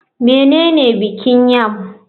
Menene bikin yam?